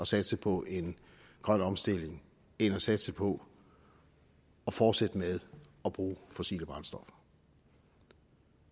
satse på en grøn omstilling end at satse på at fortsætte med at bruge fossile brændstoffer